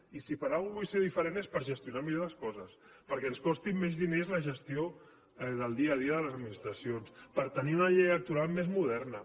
i si per alguna cosa vull ser diferent és per gestionar millor les coses perquè ens costi menys diners la gestió del dia a dia de les administracions per tenir una llei electoral més moderna